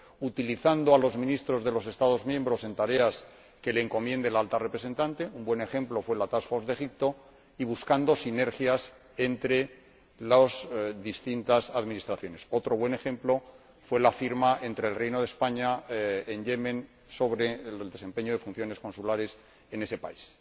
utilizando a los ministros de los Estados miembros en tareas que les encomiende la Alta Representante —un buen ejemplo fue la task force de Egipto— y buscando sinergias entre las distintas administraciones —otro buen ejemplo fue la firma con el Reino de España del acuerdo sobre el desempeño de funciones consulares en Yemen.